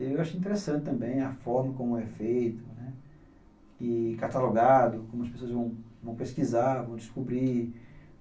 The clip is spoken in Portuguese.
Eu acho interessante também a forma como é feito, né, e catalogado, como as pessoas vão pesquisar, vão descobrir.